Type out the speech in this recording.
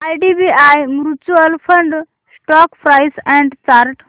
IDBI mutual fund stock price and chart